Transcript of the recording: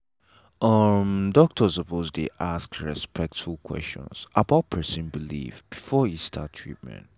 umm doctor suppose dey ask respectful question about person belief before e start treatment.